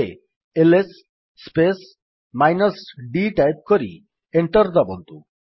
ଏବେ IS space minus d type କରି enter ଦାବନ୍ତୁ